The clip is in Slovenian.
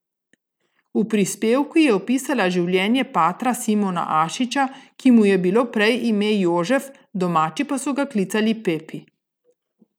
V prispevku je opisala življenje patra Simona Ašiča, ki mu je bilo prej ime Jožef, domači pa so ga klicali Pepi.